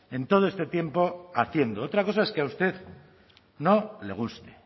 en todo este tiempo haciendo otra cosa es que a usted no le guste